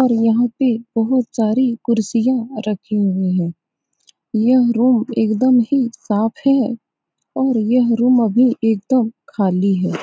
और यहाँ पे बहुत सारी कुर्सियाँ रखी हुई हैं यह रूम एकदम ही साफ़ है और यह रूम अभी एकदम खाली है ।